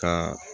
Ka